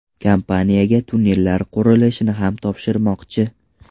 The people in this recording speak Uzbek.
Kompaniyaga tunnellar qurilishini ham topshirishmoqchi.